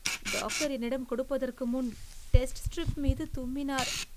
Doctor என்னிடம் கொடுப்பதற்கு முன் டெஸ்ட் ஸ்டிரிப்மீது தும்மினார்.